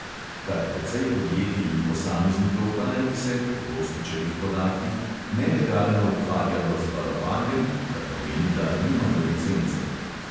Kar precej podjetij in posameznikov pa naj bi se, po gostičevih podatkih, nelegalno ukvarjalo z varovanjem, kar pomeni, da nimajo licence.